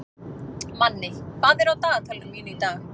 Manni, hvað er á dagatalinu mínu í dag?